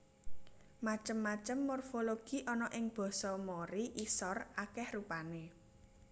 Macem macem morfologi ana ing basa Mori Isor akèh rupané